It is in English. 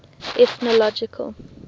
ethnological